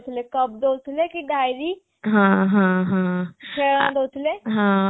ଥିଲେ cup ଦୋଉଥିଲେ କି diary ଖେଳନା ଦୋଉଥିଲେ